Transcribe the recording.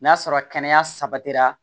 N'a sɔrɔ kɛnɛya sabatira